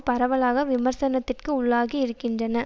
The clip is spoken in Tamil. பரவலாக விமர்சனத்திற்கு உள்ளாகி இருக்கின்றன